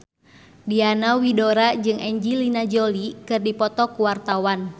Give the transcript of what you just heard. Diana Widoera jeung Angelina Jolie keur dipoto ku wartawan